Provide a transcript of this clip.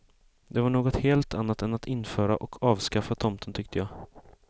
Det var något helt annat än att införa och avskaffa tomten tyckte jag.